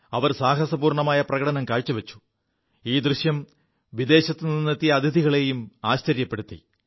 അവർ സാഹസികമായ പ്രകടനം കാഴ്ചവച്ചു ഈ ദൃശ്യം വിദേശത്തുനിെത്തിയ അതിഥികളെയും ആശ്ചര്യപ്പെടുത്തി